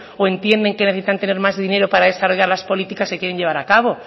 o entienden que necesitan tener más dinero para desarrollar las políticas que quieren llevar a cabo